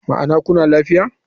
Ma'ana kuna lafiya.